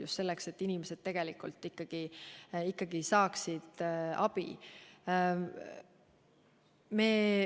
Just selleks, et inimesed ikkagi saaksid abi.